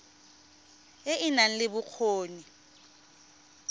e e nang le bokgoni